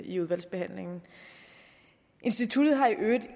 i udvalgsbehandlingen instituttet har i øvrigt